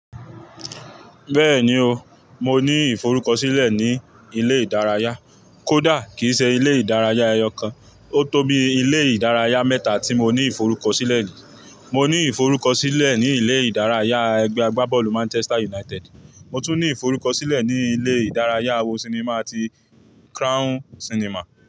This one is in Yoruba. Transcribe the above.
Bẹ́ẹ̀ni o, mo ní ìforúkọ̀sílẹ̀ ní ilé ìdárayá, kódà kìí ṣe ilé ìdárayá ẹyọ kan. Ó tó bí ilé ìdárayá mẹ́ta tí mo ní ìforúkọ̀sílẹ̀ ni. Mo ní ìforúkọ̀sílẹ̀ ní ilé ìdárayá ẹgbẹ́ agbábọ́ọ̀lù Manchester United, mo tún ní ìforúkọ̀sílẹ̀ ní ilé ìdárayá àwo sinimá ti Crown Sinimá.